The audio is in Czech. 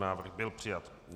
Návrh byl přijat.